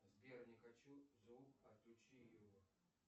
сбер не хочу звук отключи его